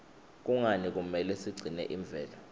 kungani kumele sigcine imvelo